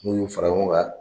N'u y'u fara ɲɔgɔn kan.